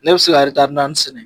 Ne bɛ se ka taari naani sɛnɛ!